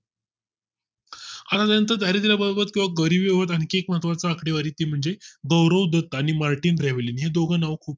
हा त्याचा दारिद्य बाबत चा आणखी एक महत्त्वाची आकडेवारी ते म्हणजे गौरव दत्त आणि मार्टिन ब्राव्हलीन हे दोघं नाव खूप